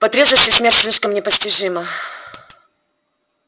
по трезвости смерть слишком непостижима